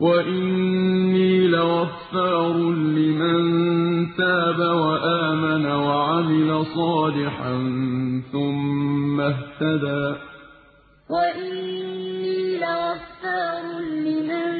وَإِنِّي لَغَفَّارٌ لِّمَن تَابَ وَآمَنَ وَعَمِلَ صَالِحًا ثُمَّ اهْتَدَىٰ وَإِنِّي لَغَفَّارٌ لِّمَن